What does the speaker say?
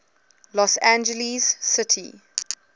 los angeles city